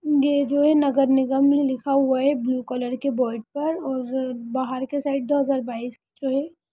यह जो है नगर निगम लिखा हुआ है ब्लू कलर के बोर्ड पर और-र-र बाहर के साइड दो हज़ार बायिश जो है --